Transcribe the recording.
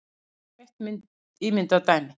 Skoðum eitt ímyndað dæmi.